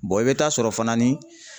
i bɛ taa sɔrɔ fana ni